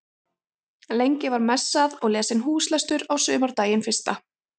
Lengst í fjarska var blár hnúkur og gnæfði yfir fjöllin í kring